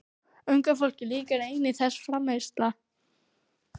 Unga fólkinu líkar einnig þessi framreiðsla.